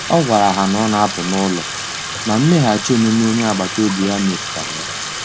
O gwara ha na ọ na-apụ n’ụlọ, ma mmeghachi omume onye agbata obi ya metu tara ya.